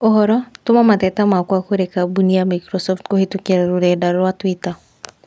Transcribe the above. ũhoro, tũma mateta makwa kũrĩ kambũni ya Microsoft kũhītũkīra rũrenda rũa tũita